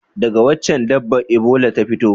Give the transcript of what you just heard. Daga wacce dabba Ebola ta fito?